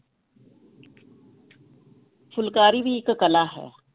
ਫੁਲਕਾਰੀ ਵੀ ਇੱਕ ਕਲਾ ਹੈ,